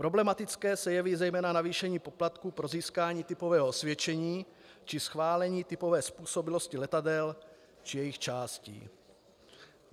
Problematické se jeví zejména navýšení poplatků pro získání typového osvědčení či schválení typové způsobilosti letadel či jejich částí.